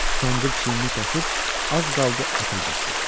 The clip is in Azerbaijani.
Kəndir çiynini kəsib az qaldı ətə girsin.